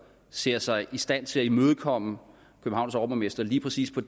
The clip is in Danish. ser sig i stand til at imødekomme københavns overborgmester lige præcis på